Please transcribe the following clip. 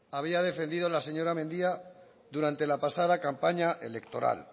había defendido la señora mendia durante la pasada campaña electoral